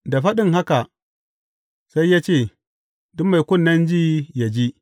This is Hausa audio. Da faɗin haka sai ya ce, Duk mai kunnen ji, yă ji.